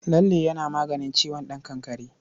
Lalle yana maganin ciwon ɗan kakkare.